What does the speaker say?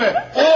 Yalan söyləmə!